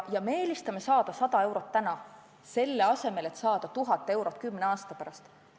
Ja me eelistame saada 100 eurot täna, selle asemel et saada 1000 eurot kümne aasta pärast.